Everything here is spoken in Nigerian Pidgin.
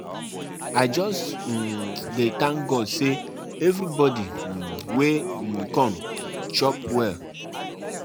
my friend say my come help am decorate him house dis Sallah break